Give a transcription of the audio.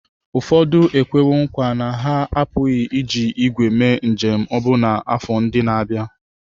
Ụfọdụ ekwewo nkwa na ha apụghị iji ígwè mee njem ọbụna n'afọ ndị na-abịa.